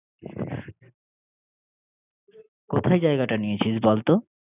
কোথায় জায়গাটা নিয়েছিস বল্তো?